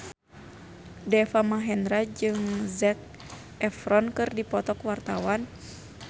Deva Mahendra jeung Zac Efron keur dipoto ku wartawan